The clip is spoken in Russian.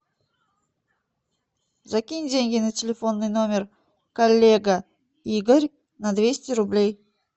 закинь деньги на телефонный номер коллега игорь на двести рублей